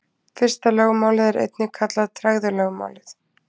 fyrsta lögmálið er einnig kallað tregðulögmálið